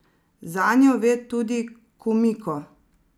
Zanjo ve tudi Kumiko.